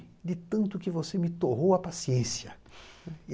De tanto que você me torrou a paciência.